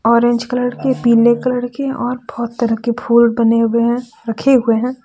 Orange colour के पीले colour के और बहोत तरह के फूल बने हुए हैं रखे हुए हैं।